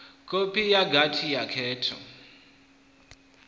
kopi ya gwati la khetho